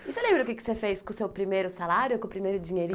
E você lembra o que que você fez com o seu primeiro salário, com o primeiro